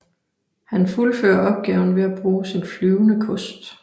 Han fuldfører opgaven ved at bruge sin flyvende kost